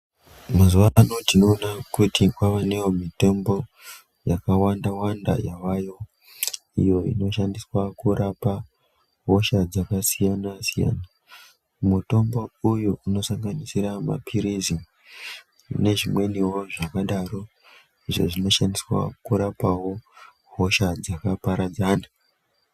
Mazuva ano tinoona kuti kwavanewo mitombo yakawanda-wanda yavayo iyo inoshandiswa kurapa hosha yakasiyana-siyana. Mutombo uyu unosanganisira maphilizi nezvimweniwo zvakadaro izvo zvinoshandiswa kurapawo hosha dzakaparadzana.